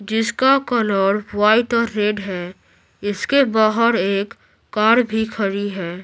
जिसका colour white और red है इसके बाहर एक कार भी खड़ी है।